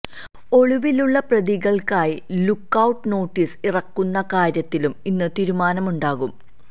ഒളിവിലുള്ള പ്രതികള്ക്കായി look out notice ഇറക്കുന്ന കാര്യത്തിലും ഇന്ന് തീരുമാനമുണ്ടാകും